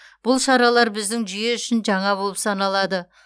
бұл шаралар біздің жүйе үшін жаңа болып саналады